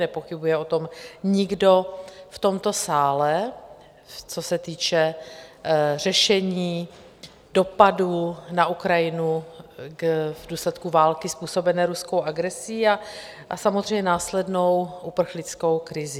Nepochybuje o tom nikdo v tomto sále, co se týče řešení dopadů na Ukrajinu v důsledku války způsobené ruskou agresí a samozřejmě následnou uprchlickou krizí.